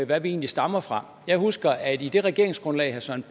hvad vi egentlig stammer fra jeg husker at i det regeringsgrundlag søren